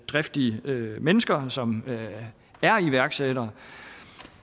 driftige mennesker som er iværksættere